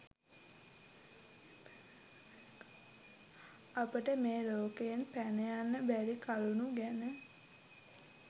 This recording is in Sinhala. අපට මේ ලෝකයෙන් පැනයන්න බැරි කරුණු ගැන